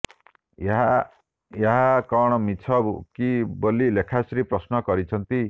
ଏହା ଏହା କଣ ମିଛ କି ବୋଲି ଲେଖାଶ୍ରୀ ପ୍ରଶ୍ନ କରିଛନ୍ତି